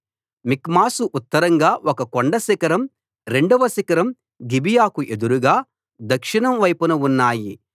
మిక్మషుకు ఉత్తరంగా ఒక కొండ శిఖరం రెండవ శిఖరం గిబియాకు ఎదురుగా దక్షిణం వైపున ఉన్నాయి